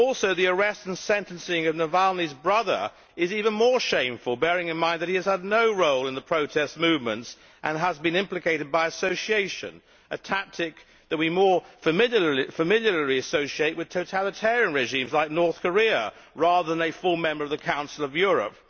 The arrest and sentencing of Navalny's brother is even more shameful, bearing in mind that he has no role in the protest movements and has been implicated by association, a tactic that we more familiarly associate with totalitarian regimes like North Korea rather than with a full member of the Council of Europe.